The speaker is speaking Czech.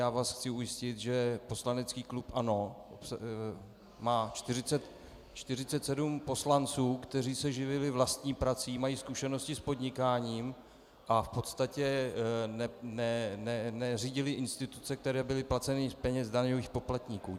Já vás chci ujistit, že poslanecký klub ANO má 47 poslanců, kteří se živili vlastní prací, mají zkušenosti s podnikáním a v podstatě neřídili instituce, které byly placeny z peněz daňových poplatníků.